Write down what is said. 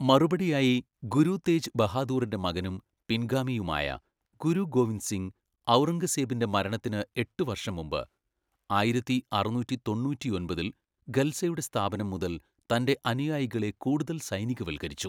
മറുപടിയായി, ഗുരു തേജ് ബഹാദൂറിന്റെ മകനും പിൻഗാമിയുമായ ഗുരു ഗോവിന്ദ് സിംഗ്, ഔറംഗസേബിന്റെ മരണത്തിന് എട്ട് വർഷം മുമ്പ്, ആയിരത്തിഅറുന്നൂറ്റിതൊണ്ണൂറ്റിഒൻപതിൽ ഖൽസയുടെ സ്ഥാപനം മുതൽ തന്റെ അനുയായികളെ കൂടുതൽ സൈനികവൽക്കരിച്ചു.